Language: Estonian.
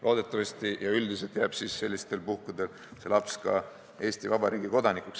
Loodetavasti ja üldiselt jääb sellistel puhkudel see laps Eesti Vabariigi kodanikuks.